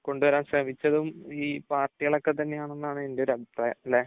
കൊണ്ടുവരാൻ ശ്രമിച്ചതും ഈ പാർട്ടികൾ ഒക്കെ തന്നെയാണെന്നാണ് എൻറെ ഒരു അഭിപ്രായം. അല്ലേ?